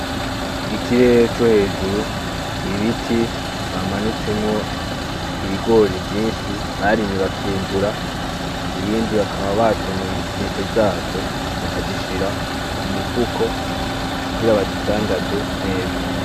Ikirere co hejuru, ibiti bamanitsemwo ibigori vyinshi barimye bakimbura, ibindi bakaba batonoye intete zavyo bakazishira ku mifuko kugira bazidandaze neza.